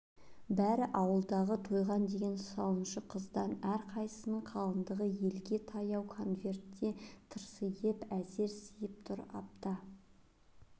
бәрі ауылдағы тойған деген сауыншы қыздан әрқайсысының қалыңдығы елге таяу конвертке тырсиып әзер сиып тұр апта